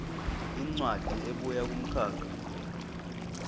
incwadi ebuya kumkhakha